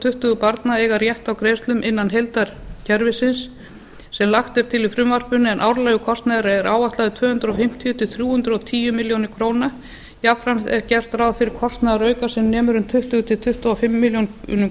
tuttugu barna að eiga rétt á greiðslum innan heildarkerfisins sem lagt er til í frumvarpinu en árlegur kostnaður er áætlaður um tvö hundruð fimmtíu til þrjú hundruð og tíu milljónir króna jafnframt er gert ráð fyrir að kostnaðarauka sem nemur um tuttugu til tuttugu og fimm milljónir